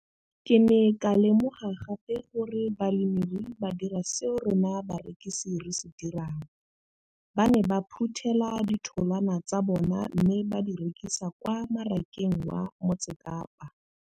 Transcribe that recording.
Ke ne ka lemoga gape gore balemirui ba dira seo rona barekisi re se dirang ba ne ba phuthela ditholwana tsa bona mme ba di rekisa kwa marakeng wa Motsekapa.